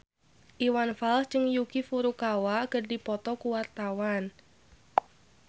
Iwan Fals jeung Yuki Furukawa keur dipoto ku wartawan